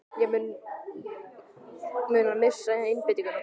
Mun hann missa einbeitinguna?